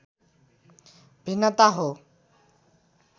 भिन्नता हो